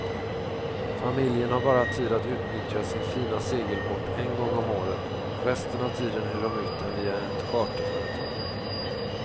Familjen har bara tid att utnyttja sin fina segelbåt en gång om året, resten av tiden hyr de ut den via ett charterföretag.